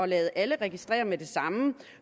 lade alle registrere med det samme